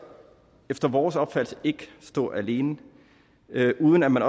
efter vores opfattelse ikke stå alene uden at man